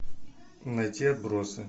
найти отбросы